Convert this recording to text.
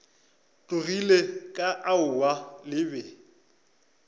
tlogile ka aowa le be